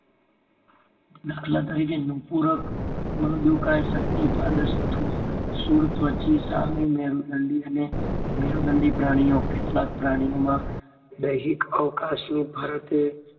દાખલ તરીકે નુપુરક, મૃદુકાય, સંધિપાદ, શુળત્વચી, સામીમેરુદંડી અને મેરુદંડી પ્રાણીઓ. કેટલાક પ્રાણીઓમાં, દૈહિક અવકાશની ફરતે